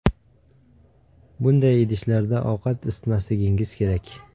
Bunday idishlarda ovqat isitmasligingiz kerak.